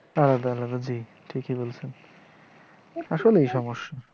আলাদা আলাদা ঠিক, ঠিকিই বলসেন। আসলে এই সমস্যা